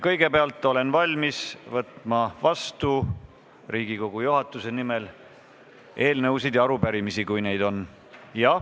Kõigepealt olen valmis Riigikogu juhatuse nimel vastu võtma eelnõusid ja arupärimisi, kui neid on.